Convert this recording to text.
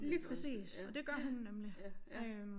Lige præcis og det gør hun nemlig øh